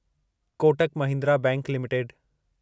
Kotak Mahindra bank limited